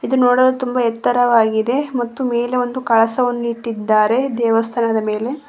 ಇದು ನೋಡಲು ತುಂಬ ಎತ್ತರವಾಗಿದೆ ಮತ್ತು ಮೇಲೆ ಒಂದು ಕಳಸವನ್ನು ಇಟ್ಟಿದ್ದಾರೆ ದೇವಸ್ಥಾನದ ಮೇಲೆ.